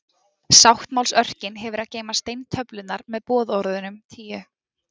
Sáttmálsörkin hefur að geyma steintöflurnar með boðorðunum tíu.